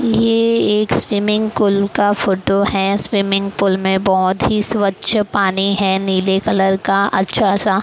ये एक swimming pool का फोटो है स्विमिंग पूल में बहुत ही स्वच्छ पानी है नीले कलर का अच्छा सा--